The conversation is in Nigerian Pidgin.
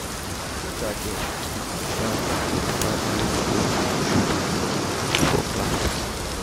teachers dem dey siddon with primary skool children for class.